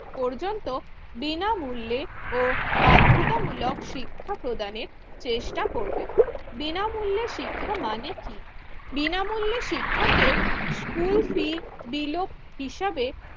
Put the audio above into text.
পর্যন্ত বিনামূল্য ও বাধ্যতামূলক শিক্ষা প্রদানের চেষ্টা করবে। বিনামূল্যে শিক্ষা মানে কি? বিনামূল্যে শিক্ষাকে কুলফি বিলোপ হিসেবে